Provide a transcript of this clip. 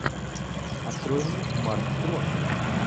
открой мне марк стронг